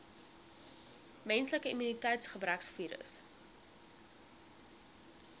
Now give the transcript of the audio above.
menslike immuniteitsgebrekvirus